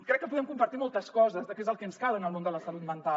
crec que podem compartir moltes coses que és el que ens cal en el món de la salut mental